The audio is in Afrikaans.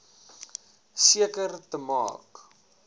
seker te maak